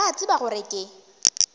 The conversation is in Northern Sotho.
ba a tseba gore ke